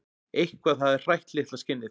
Eitthvað hafði hrætt litla skinnið.